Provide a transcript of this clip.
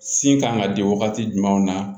Sin kan ka di wagati jumɛnw na